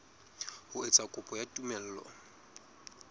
ho etsa kopo ya tumello